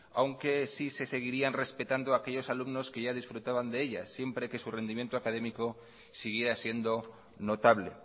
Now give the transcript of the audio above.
aunque sí se seguirían respetando aquellos alumnos que ya disfrutaban de ellas siempre que su rendimiento académico siguiera siendo notable